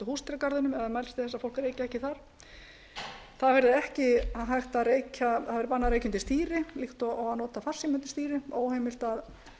húsdýragarðinum eða mælst til þess að fólk reyki ekki þar það verði ekki hægt að reykja það verði bannað að reykja undir stýri líkt og að nota farsíma undir stýri óheimilt að